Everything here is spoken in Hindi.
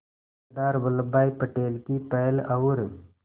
सरदार वल्लभ भाई पटेल की पहल और